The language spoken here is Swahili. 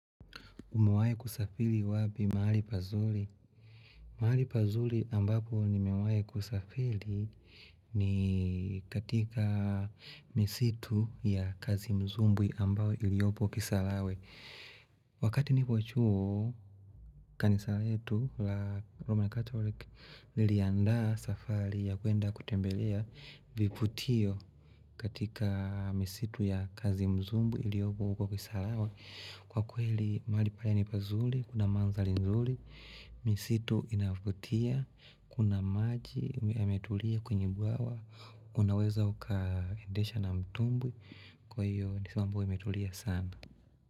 Umewai kusafili wapi mahali pazuli. Maali pazuli ambapo nimewae kusafili ni katika misitu ya kazi mzumbu ambao iliopo kisalawe. Wakati nipo chuo kanisaletu la Roman Catholic lilianda safari ya kwenda kutembelea viputio katika misitu ya kazi mzumbu iliopo huko kisalawe. Kwa kweli maali pala nipazuli, kuna manzali nzuli, misitu inafutia, kuna maji, ya metulia kwenye buawa, unaweza uka endesha na mtumbi, kwa hiyo nisimambo ya metulia sana.